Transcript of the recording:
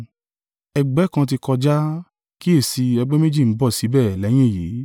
Ègbé kan tí kọjá, kíyèsi i, ègbé méjì ń bọ̀ síbẹ̀ lẹ́yìn èyí.